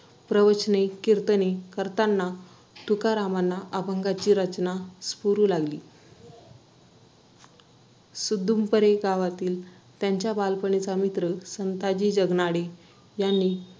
नवीन job भेटला ते पण चांगला आहे, शेवटी नवीन लग्न झालेल बायकोशी phone ही genuine आसणारच आणि तो तिच्याशी म्हणजे बोलतात ना एकदम, genuine असल्यामुळे ना तर काय झालं तो document submit करत होता ना,